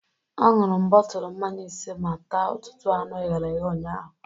Aṅụrụ m bọtụlụ mmanya ise ma taa ọtụtụ anụ eghere eghe ụnyaahụ.